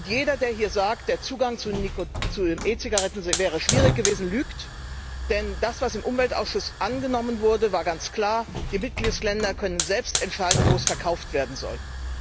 Jeder, der hier sagt, der Zugang zu E Zigaretten sei schwierig gewesen, lügt, denn das, was im Umweltausschuss angenommen wurde, war ganz klar Die Mitgliedstaaten können selbst entscheiden, wo sie verkauft werden sollen.